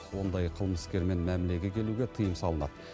ондай қылмыскермен мәмілеге келуге тыйым салынады